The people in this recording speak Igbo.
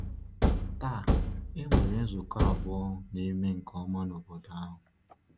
Taa, e nwere nzukọ abụọ na-eme nke ọma n’obodo ahụ.